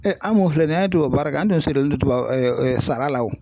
an mun filɛ nin ye an ye tubabu baara kɛ an tun sirilen tuba sara la o.